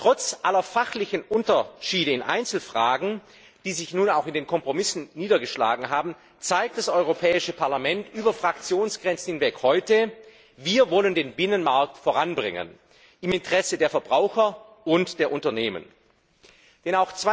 Trotz aller fachlichen Unterschiede in Einzelfragen, die sich nun auch in den Kompromissen niedergeschlagen haben, zeigt das Europäische Parlament über Fraktionsgrenzen hinweg heute Wir wollen den Binnenmarkt im Interesse der Verbraucher und der Unternehmen voranbringen.